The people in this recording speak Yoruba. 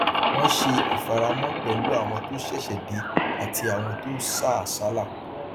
wọn ṣe ìfaramọ pẹlú àwọn tó ṣẹṣẹ dé àti àwọn tó sá àsálà